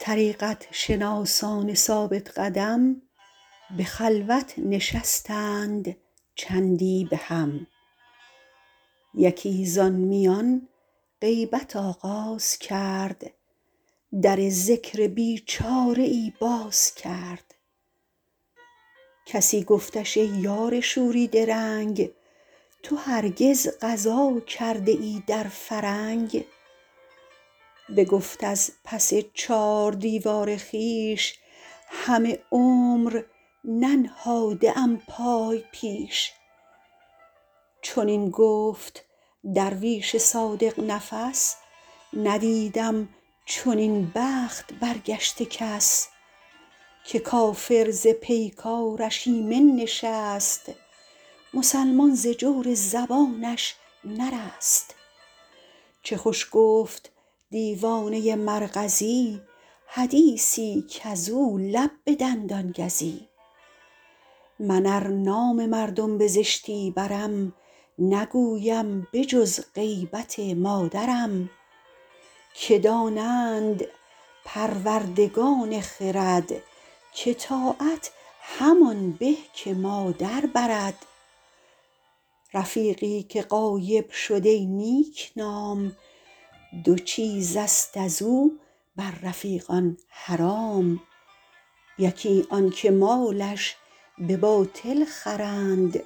طریقت شناسان ثابت قدم به خلوت نشستند چندی به هم یکی زان میان غیبت آغاز کرد در ذکر بیچاره ای باز کرد کسی گفتش ای یار شوریده رنگ تو هرگز غزا کرده ای در فرنگ بگفت از پس چار دیوار خویش همه عمر ننهاده ام پای پیش چنین گفت درویش صادق نفس ندیدم چنین بخت برگشته کس که کافر ز پیکارش ایمن نشست مسلمان ز جور زبانش نرست چه خوش گفت دیوانه مرغزی حدیثی کز او لب به دندان گزی من ار نام مردم بزشتی برم نگویم به جز غیبت مادرم که دانند پروردگان خرد که طاعت همان به که مادر برد رفیقی که غایب شد ای نیک نام دو چیزست از او بر رفیقان حرام یکی آن که مالش به باطل خورند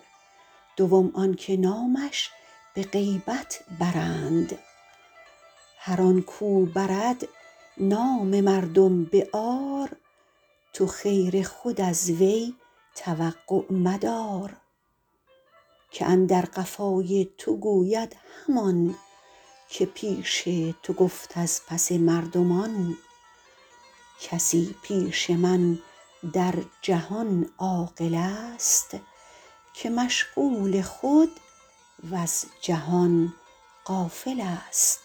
دوم آن که نامش به غیبت برند هر آن کو برد نام مردم به عار تو خیر خود از وی توقع مدار که اندر قفای تو گوید همان که پیش تو گفت از پس مردمان کسی پیش من در جهان عاقل است که مشغول خود وز جهان غافل است